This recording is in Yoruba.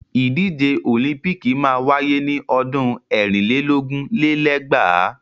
Ìdíje òlíḿpìkì máa wáyé ni ọdún ẹ̀rin lé lógún lé lẹ́gbàá.